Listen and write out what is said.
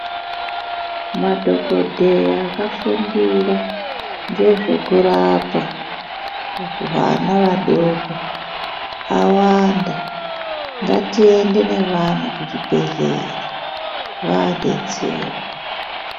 Madhokodheya akafundira ngezvekurapa hwana vadoko awanda ngatiende nevana kuzvibhedhlera vaadetserwa.